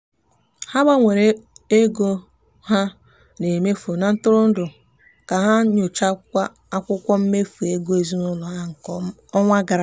ha gbanwere ego ha na-emefu na ntụrụndụ ka ha nyochara akwụkwọ mmefu ego ezinụụlọ ha nke ọnwa gara aga.